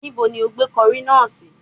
Níbo ni ó gbé kọrí náà sí?